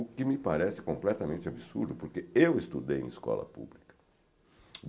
O que me parece completamente absurdo, porque eu estudei em escola pública.